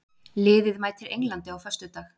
Liðið mætir Englandi á föstudag.